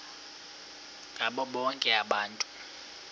ngabo bonke abantu